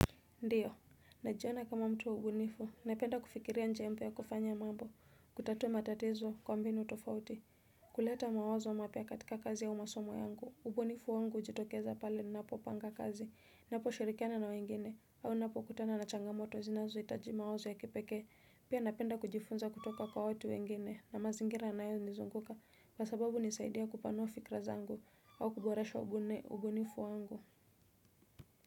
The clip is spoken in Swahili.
Ndiyo, najiona kama mtu wa ubunifu, napenda kufikiria njia mpya kufanya mambo, kutatua matatizo kwa mbinu tofauti, kuleta mawazo mapya katika kazi au masomo yangu, ubunifu wangu hujitokeza pale ninapopanga kazi, ninaposhirikiana na wengine, au ninapokutana na changamoto zinazohitaji mawazo ya kipekee, pia napenda kujifunza kutoka kwa watu wengine na mazingira yanayonizunguka kwa sababu hunisaidia kupanua fikira zangu au kuboresha ubunifu wangu.